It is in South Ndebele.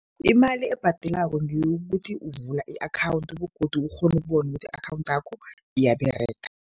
Imali ebhadelwako ngeyokuthi ukuvula i-akhawundi begodu ukghone ukubona ukuthi i-akhawundi yakho iyaberega.